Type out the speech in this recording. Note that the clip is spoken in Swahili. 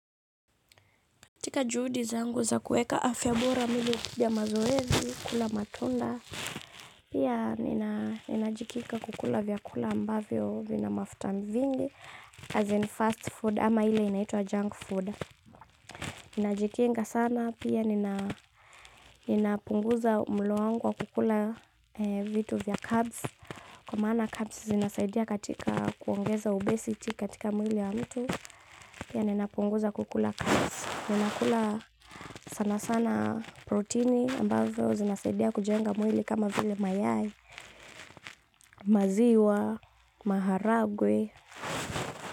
Katika juhudi zangu za kuweka afya bora mimi hupiga mazoezi, kula matunda, pia ninajikita kukula vyakula ambavyo vina mafuta vingi 'as in fast food' ama ile inaitwa 'junk food'. Ninajitenga sana, pia ninapunguza mlo wangu wa kukula vitu vya 'carbs', kwa mana 'carbs' zinasaidia katika kuongeza obesity katika mwili wa mtu, pia ninapunguza kukula 'carbs'. Ninakula sana sana protini ambazo zinasadia kujenga mwili kama vile mayai, maziwa, maharagwe.